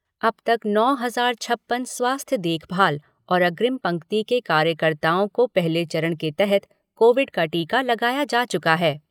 अब तक नौ हज़ार छप्पन स्वास्थ्य देखभाल और अग्रिम पंक्ति के कार्यकर्ताओं को पहले चरण के तहत कोविड का टीका लगाया जा चुका है।